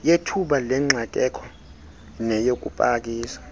yethuba lengxakeko neyokupakisa